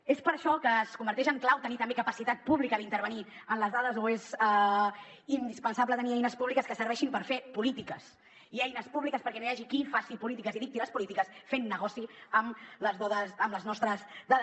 és per això que es converteix en clau tenir també capacitat pública d’intervenir en les dades o és indispensable tenir eines públiques que serveixin per fer polítiques i eines públiques perquè no hi hagi qui faci polítiques i dicti les polítiques fent negoci amb les nostres dades